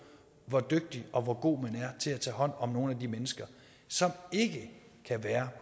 hvor dygtig og hvor god man er til at tage hånd om nogle af de mennesker som ikke kan være